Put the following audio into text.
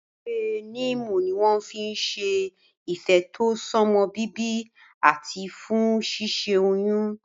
Ewé níìmù ni wọ́n fi n ṣe ìfètò sọ́mọbíbí àti fún ṣíṣẹ́ oyún